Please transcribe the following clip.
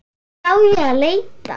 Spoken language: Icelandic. Hvar á ég að leita.